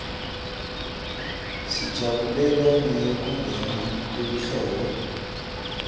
sijabulela neyekungena kwelihlobo